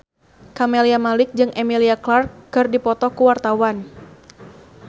Camelia Malik jeung Emilia Clarke keur dipoto ku wartawan